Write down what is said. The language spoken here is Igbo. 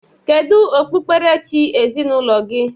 Kedu okpukperechi ezinaụlọ gị?